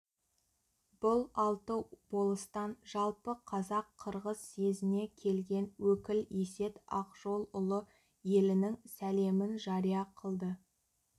бұл алты болыстан жалпы қазақ-қырғыз съезіне келген өкіл есет ақжолұлы елінің сәлемін жария қылды